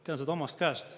Tean seda omast käest.